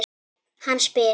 Hann spyr.